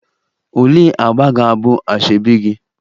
Olee agba ga-abụ asoebi gị?